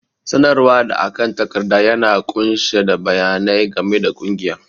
sanarwa da akan takarda yana ƙunshe da bayanai game da ƙungiya